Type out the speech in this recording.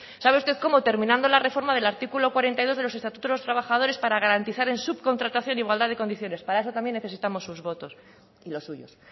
sabe usted cómo terminando la reforma del artículo cuarenta y dos del estatuto de los trabajadores para garantizar en subcontratación igualdad de condiciones para eso también necesitamos sus votos y los suyos